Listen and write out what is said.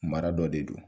Mara dɔ de don